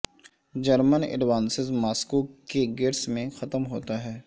German advances Moscow کے gates میں ختم ہوتا ہے